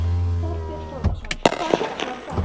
Þorbjörn Þórðarson: Hvaða gögn voru það?